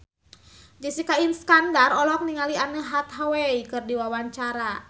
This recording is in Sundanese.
Jessica Iskandar olohok ningali Anne Hathaway keur diwawancara